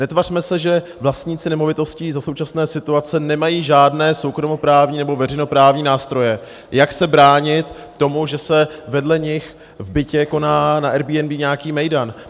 Netvařme se, že vlastníci nemovitostí za současné situace nemají žádné soukromoprávní nebo veřejnoprávní nástroje, jak se bránit tomu, že se vedle nich v bytě koná na Airbnb nějaký mejdan.